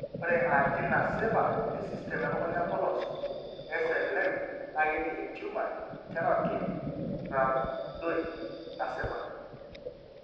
Ore RT naata esistem elukunya empolos (SLM) naa keji entumor eteratoid rhabdoide nasipa.